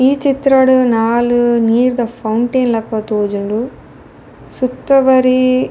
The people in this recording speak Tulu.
ಈ ಚಿತ್ರಡ್ ನಾಲ್ ನೀರ್ದ ಫೌಂತೇನ್ ಲಕ ತೋಜುಂಡು ಸುತ ಬರೀ --